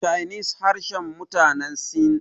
chinese harshen mutane sin